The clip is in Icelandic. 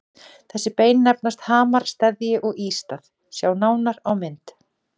Þessi bein nefnast hamar, steðji og ístað, sjá nánar á mynd.